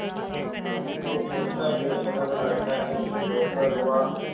यह कैसा बेसमझ लड़का है कि दोपहर हुआ